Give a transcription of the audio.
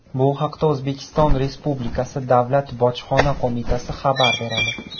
Bu haqda O‘zbekiston Respublikasi Davlat Bojxona qo‘mitasi xabar beradi .